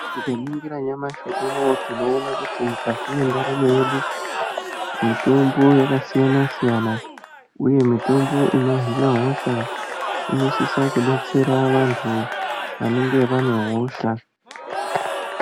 Tikaningira nyamashi unouwu, tinoona kuti mwukati mwendaramwo yedu mitombo yakasiyana siyana uye mitombo inohina hosha inosisa kudetsera vantu vanenge vane hosha.